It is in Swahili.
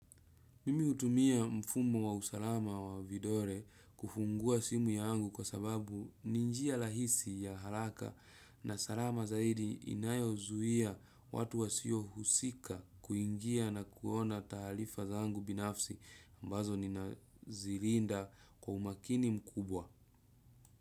Mimi hutumia mfumo wa usalama wa vidole kufungua simu yangu kwa sababu ni njia rahisi ya haraka na salama zaidi inayo zuia watu wasio husika kuingia na kuona taaarifa zangu binafsi ambazo nina zilinda kwa umakini mkubwa.